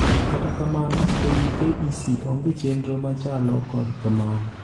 Kata kamano, ewii KEC onge chendro machalo kod mano